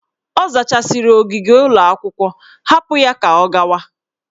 Ọ zachasịrị ogige ụlọ akwụkwọ, hapụ ya ka ọ gawa!